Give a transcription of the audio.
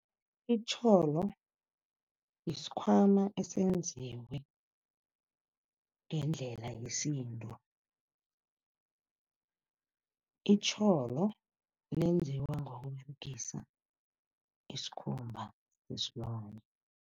Itjholo, yisikhwama esenziwe ngendlela yesintu. Itjholo lenziwa ngokUberegisa isikhumba sesilwane.